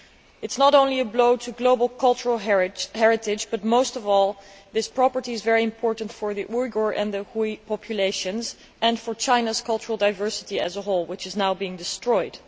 It is not only a blow to global cultural heritage, but most of all, the city is very important for the Uyghur and the Hui populations, and for China's cultural diversity as a whole, which is now being destroyed.